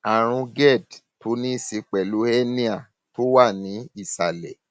àrùn gerd tó ní í ṣe pẹlú hẹníà tó wà ní ìsàlẹ